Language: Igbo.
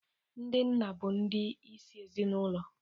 Ndị nna bụ ndi isi ezinaụlọ.